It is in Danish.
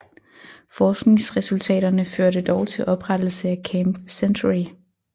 Forskningsresultaterne førte dog til oprettelse af Camp Century